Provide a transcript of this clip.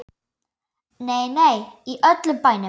Nei, nei, í öllum bænum.